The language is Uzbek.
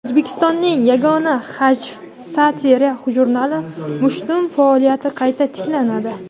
O‘zbekistonning yagona hajv (satira) jurnali "Mushtum" faoliyati qayta tiklanadi.